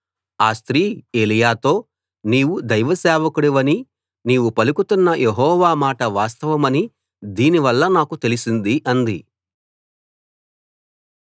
ఆ స్త్రీ ఏలీయాతో నీవు దైవసేవకుడివని నీవు పలుకుతున్న యెహోవా మాట వాస్తవమని దీని వల్ల నాకు తెలిసింది అంది